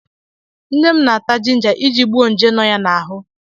Nne m na-ata jinja iji gbuo nje nọ ya n'ahụ.